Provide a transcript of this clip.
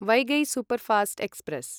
Vaigai superfast express